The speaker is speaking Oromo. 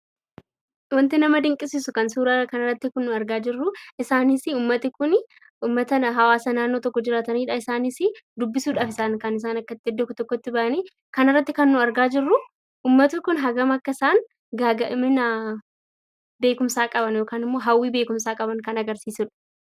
Wanti nama dinqisiisu kan suuraa kanarratti argaa jirru isaanis uummatni kun hawaasa naannoo tokko jiraatanidha. Isaanis dubbisuudhaafi kan isaan iddoo tokkotti bahanii jirani. Kanarratti kanargaa jirru uummanni kun hammam akka isaan hawwii beekumsaa qaban kan agarsiisudha.